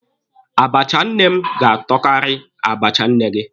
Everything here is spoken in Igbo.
Abacha nne m ga-atọkari abacha nne gị.